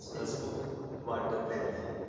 हसमुख वाटत आहे मला